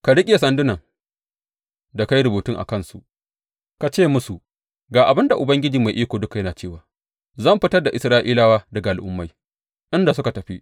Ka riƙe sandunan da ka yi rubutun a gabansu ka ce musu, Ga abin da Ubangiji Mai Iko Duka yana cewa zan fitar da Isra’ilawa daga al’ummai inda suka tafi.